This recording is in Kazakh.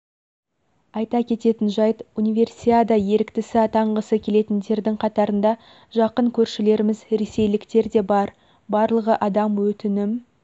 айта кететін жайт универсиада еріктісі атанғысы келетіндердің қатарында жақын көршілеріміз ресейліктер де бар барлығы адам өтінім